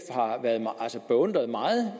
har beundret meget